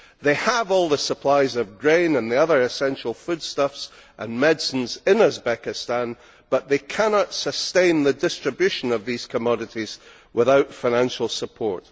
They have all the supplies of grain and the other essential foodstuffs and medicines in Uzbekistan, but they cannot sustain the distribution of these commodities without financial support.